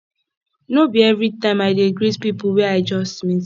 no be everytime i dey greet pipo wey i just meet